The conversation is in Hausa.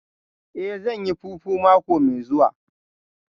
Eh, zan yi fufu mako mai zuwa